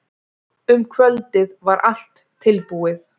Um kvöldið var allt tilbúið.